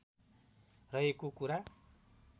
रहेको कुरा